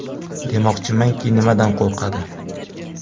Demoqchimanki, nimadan qo‘rqadi?